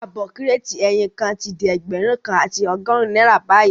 Ààbọ̀ Kírètì ẹyin kan tí di ẹgbẹ̀rún kan àti ọgọ́rùn-ún náírà bayii